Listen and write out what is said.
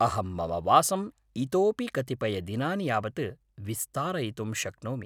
अहं मम वासम् इतोऽपि कतिपयदिनानि यावत् विस्तारयितुं शक्नोमि।